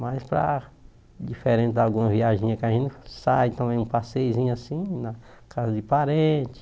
Mas para, diferente de alguma viagenzinha que a gente sai, também um passeiozinho assim, na casa de parente.